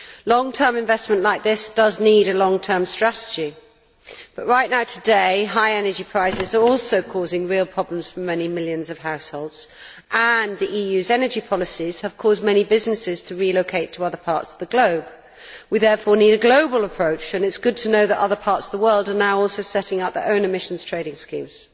Long term investment like this does need a long term strategy, but right now today, high energy prices are also causing real problems for many millions of households, and the EU's energy policies have caused many businesses to relocate to other parts of the globe. We therefore need a global approach, and it is good to know that other parts of the world are now also setting up their own emissions trading schemes.